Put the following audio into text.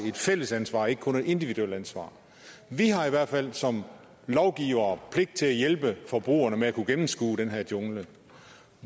et fælles ansvar ikke kun et individuelt ansvar vi har i hvert fald som lovgivere pligt til at hjælpe forbrugerne med at kunne gennemskue den her jungle